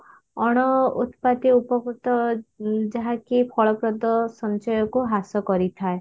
ଅଣ ଉତ୍ପାଦୀୟ ଉପକୃତ ଉଁ ଯାହା କି ଫଳପ୍ରଦ ସଞ୍ଚୟକୁ ହ୍ରାସ କରିଥାଏ